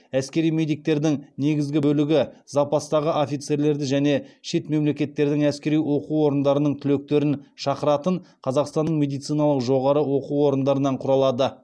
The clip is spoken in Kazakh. әскери медиктердің негізгі бөлігі запастағы офицерлерді және шет мемлекеттердің әскери оқу орындарының түлектерін шақыратын қазақстанның медициналық жоғары оқу орындарынан құралады